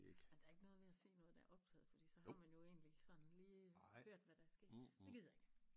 Ej der er ikke noget ved at se noget der er optaget fordi så har man jo egentlig sådan lige hørt hvad der er sket det gider jeg ikke